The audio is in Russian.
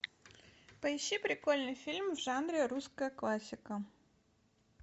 поищи прикольный фильм в жанре русская классика